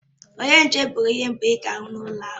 Onye nche bụ onye mbụ ị ga-ahụ na ụlọ akụ.